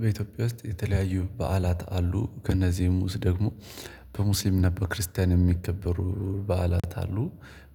በኢትዮጵያ ውስጥ የተለያዩ በዓላት አሉ ከእነዚህም ውስጥ ደግሞ በሙስሊም ነበር በክርስቲያን የሚከበሩ በዓላት አሉ